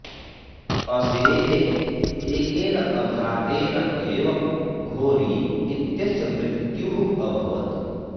असेः एकेन आघातेन एव घोरी इत्यस्य मृत्युः अभवत्